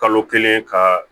Kalo kelen ka